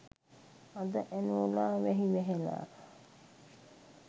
අද ඇනෝලා වැහි වැහැලා